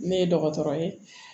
Ne ye dɔgɔtɔrɔ ye